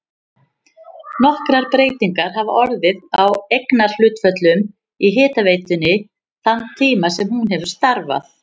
Nokkrar breytingar hafa orðið á eignarhlutföllum í hitaveitunni þann tíma sem hún hefur starfað.